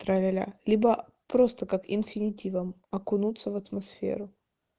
тра-ля-ля либо просто как инфинитивом окунуться в атмосферу